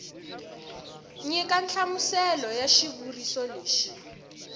nyika nhlamuselo ya xivuriso lexi